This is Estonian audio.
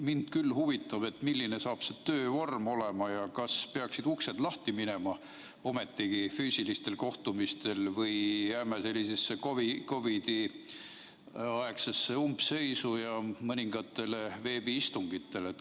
Mind küll huvitab, milline hakkab olema see töövorm ja kas peaksid uksed lahti minema, nii et saab ometigi pidada füüsilisi kohtumisi, või jääme sellisesse COVID-i-aegsesse umbseisu ja mõningatele veebiistungitele.